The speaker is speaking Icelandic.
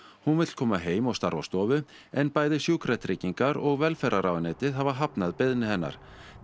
hún vill koma heim og starfa á stofu en bæði Sjúkratryggingar og velferðarráðuneytið hafa hafnað beiðni hennar